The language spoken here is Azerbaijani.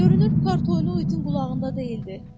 Görünür kart oyunu Uidin qulağında deyildi.